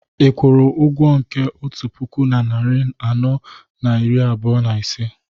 ị kwụrụ ụgwọ nke otu puku na narị anọ na iri abụọ na ise